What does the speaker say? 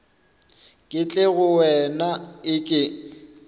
ke tle go wena eke